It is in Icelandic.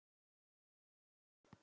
Bókin verður einar